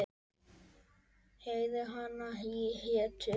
Heiði hana hétu